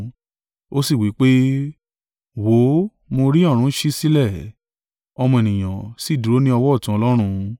Ó sì wí pé, “Wò ó, mo rí ọ̀run ṣí sílẹ̀, Ọmọ Ènìyàn sì dúró ní ọwọ́ ọ̀tún Ọlọ́run.”